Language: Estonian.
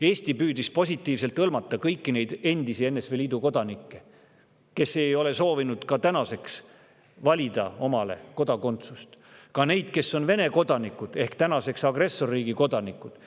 Eesti püüdis positiivselt hõlmata kõiki neid endisi NSV Liidu kodanikke, kes ei ole siiani soovinud valida omale kodakondsust, ka neid, kes on Vene kodanikud ehk tänaseks agressorriigi kodanikud.